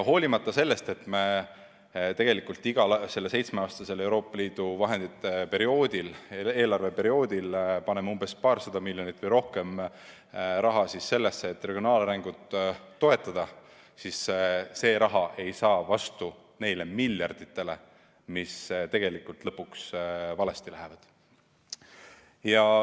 Hoolimata sellest, et me igal seitsmeaastasel Euroopa Liidu eelarveperioodil paneme umbes paarsada miljonit eurot või rohkemgi regionaalarengu toetamisse, ei saa see raha vastu neile miljarditele, mis tegelikult lõpuks n-ö valesti lähevad.